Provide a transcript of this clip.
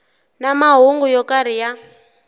na mahungu yo karhi ya